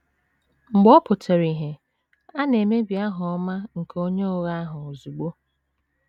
Mgbe ọ pụtara ìhè, a na - emebi aha ọma nke onye ụgha ahụ ozugbo.